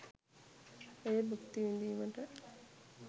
එය භුක්ති විදීමට?